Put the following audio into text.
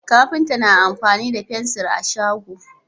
kafinta na amfani da fensir a shago